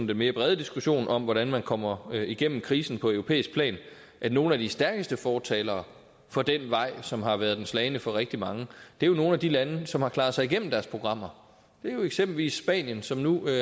den mere brede diskussion om hvordan man kommer igennem krisen på europæisk plan at nogle af de stærkeste fortalere for den vej som har været den slagne for rigtig mange er nogle af de lande som har klaret sig igennem deres programmer det er jo eksempelvis spanien som nu